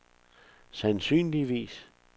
sandsynligvis